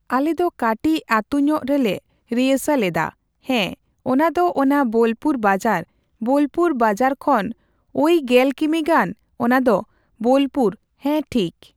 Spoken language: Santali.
ᱟᱞᱮᱫᱚ ᱠᱟᱴᱤᱪ ᱟᱛᱩᱧᱚᱜ ᱨᱮᱞᱮ ᱨᱤᱭᱟᱹᱞᱥᱟᱹᱞ ᱫᱟ ᱦᱮᱸ ᱚᱱᱟ ᱫᱚ ᱚᱱᱟ ᱵᱳᱞᱯᱩᱨ ᱵᱟᱡᱟᱨ ᱵᱳᱞᱯᱩᱨ ᱵᱟᱡᱟᱨ ᱠᱷᱚᱱ ᱳᱭ ᱜᱮᱞ ᱠᱤᱢᱤ ᱜᱟᱱ ᱚᱱᱟᱫᱚ ᱵᱳᱞᱯᱩᱨ ᱦᱮᱸ ᱴᱷᱤᱠ